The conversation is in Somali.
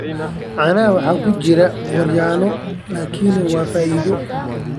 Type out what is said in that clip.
Caanaha waxaa ku jira Gooryaano laakiin waa faa'iido.